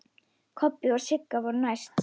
Kobbi og Sigga voru næst.